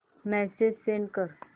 message send कर